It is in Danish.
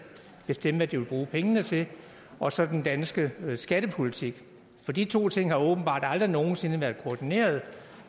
bestemme hvad de vil bruge pengene til og så den danske skattepolitik for de to ting har åbenbart aldrig nogen sinde været koordineret